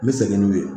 N bɛ segin n'u ye